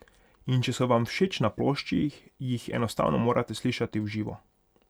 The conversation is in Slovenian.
In če so vam všeč na plošči, jih enostavno morate slišati v živo.